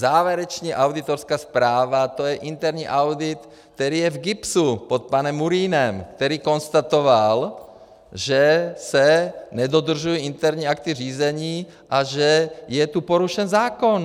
Závěrečná auditorská zpráva, to je interní audit, který je v GIBS pod panem Murínem, který konstatoval, že se nedodržují interní akty řízení a že je tu porušen zákon.